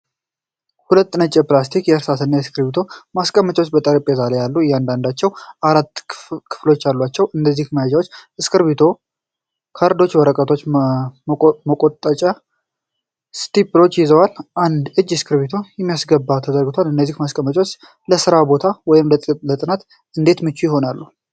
ሁለት ነጭ የፕላስቲክ የእርሳስና እስክሪብቶ ማስቀመጫዎች በጠረጴዛ ላይ አሉ። እያንዳንዳቸው አራት ክፍሎች አሏቸው። እነዚህ መያዣዎች እስክሪብቶዎች፣ ካርዶችና የወረቀት መቆንጠጫ (ስታፕልስ) ይዘዋል። አንድ እጅ እስክሪብቶ ለማስገባት ተዘርግቷል። እነዚህ ማስቀመጫዎች ለሥራ ቦታ ወይም ለጥናት እንዴት ምቹ ይሆናሉ?